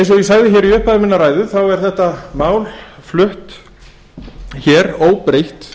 eins og ég sagði í upphafi minnar ræðu er þetta mál flutt óbreytt